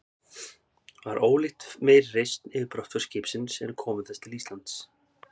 Var ólíkt meiri reisn yfir brottför skipsins en komu þess til Íslands.